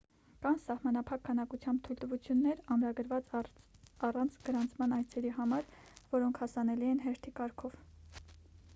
կան սահմանափակ քանակությամբ թույլտվություններ ամրագրված առանց գրանցման այցերի համար որոնք հասանելի են հերթի կարգով